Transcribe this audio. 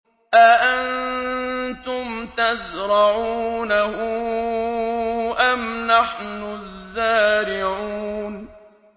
أَأَنتُمْ تَزْرَعُونَهُ أَمْ نَحْنُ الزَّارِعُونَ